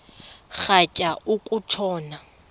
rhatya uku tshona